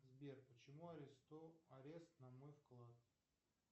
сбер почему арест на мой вклад